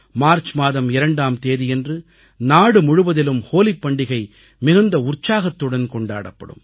March மாதம் 2ஆம் தேதியன்று நாடுமுழுவதிலும் ஹோலிப் பண்டிகை மிகுந்த உற்சாகத்துடன் கொண்டாடப்படும்